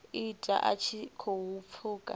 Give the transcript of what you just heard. ita a tshi khou pfuka